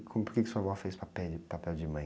Como, por que sua vó fez o pape, papel de mãe?